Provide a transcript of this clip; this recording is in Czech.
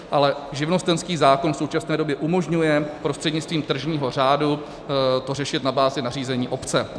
Ale živnostenský zákon v současné době umožňuje prostřednictvím tržního řádu řešit to na bázi nařízení obce.